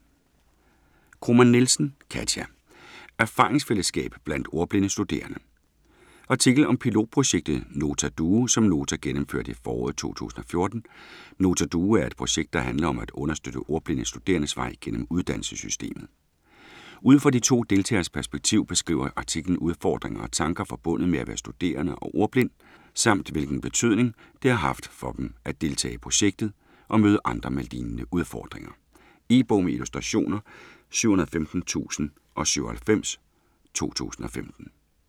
Kromann Nielsen, Katia: Erfaringsfællesskab blandt ordblinde studerende Artikel om pilotprojektet Nota Duo som Nota gennemførte i foråret 2014. Nota Duo er et projekt, der handler om at understøtte ordblinde studerendes vej gennem uddannelsessystemet. Ud fra de to deltageres perspektiv beskriver artiklen udfordringer og tanker forbundet med at være studerende og ordblind, samt hvilken betydning det har haft for dem at deltage i projektet og møde andre med lignende udfordringer. E-bog med illustrationer 715097 2015.